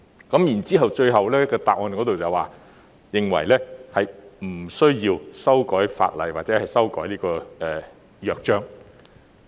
主體答覆最後更提到，他們認為並無需要修改法例或修改《約章》。